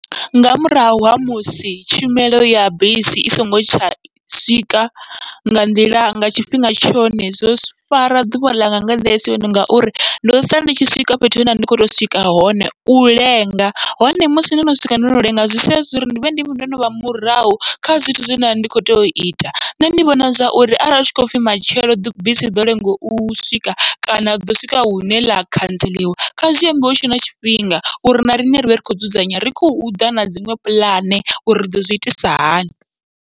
Nga murahu ha musi tshumelo ya bisi i songo tsha swika nga nḓila nga tshifhinga tshone, zwo fara ḓuvha ḽanga nga nḓila isi yone ngauri ndo sala ndi tshi swika fhethu he ndavha ndi kho to swika hone u lenga, hone musi no no swika ndo lenga zwi sia zwi uri ndivhe ndi ndo novha murahu kha zwithu zwe nda ndi kho tea ita. Nṋe ndi vhona zwauri arali hu tshi khopfhi matshelo bisi iḓo lenga u swika, kana riḓo swika hune ḽa khantseḽiwa kha zwi ambiwe hutshe na tshifhinga uri na riṋe rivhe ri khou dzudzanya ri khou ḓa na dziṅwe puḽane uri riḓo zwi itisa hani.